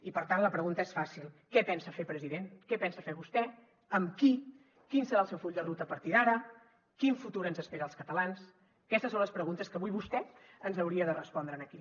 i per tant la pregunta és fàcil què pensa fer president què pensa fer vostè amb qui quin serà el seu full de ruta a partir d’ara quin futur ens espera als catalans aquestes són les preguntes que avui vostè ens hauria de respondre aquí